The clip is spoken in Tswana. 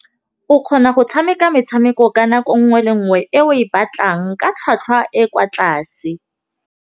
O kgona go tshameka metshameko ka nako nngwe le nngwe e o e batlang ka tlhwatlhwa e kwa tlase.